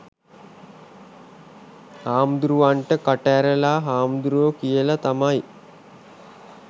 හාමුදුරුවන්ට කට ඇරලා හාමුදුරුවෝ කියල තමයි